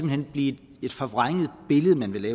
hen blive et forvrænget billede man vil